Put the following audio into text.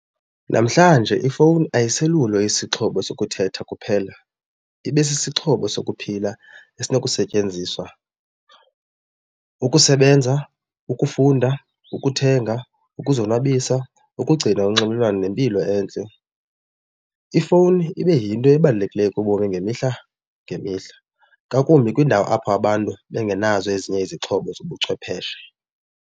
Namhlanje ifowuni ayiselulo isixhobo sokuthetha kuphela ibe sisixhobo sokuphila esinokusetyenziswa ukusebenza, ukufunda, ukuthenga, ukuzonwabisa, ukugcina unxibelelwano nempilo entle. Ifowuni ibe yinto ebalulekileyo kubomi ngemihla ngemihla ngakumbi kwiindawo apho abantu bengenazo ezinye izixhobo zobuchwepheshe.